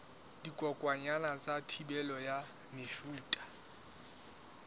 dikokwanyana ka thibelo ya mefuta